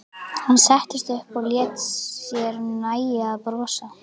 Hann settist upp og lét sér nægja að brosa.